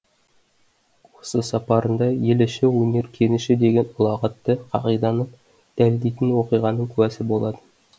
осы сапарында ел іші өнер кеніші деген ұлағатты қағиданы дәлелдейтін оқиғаның куәсы болады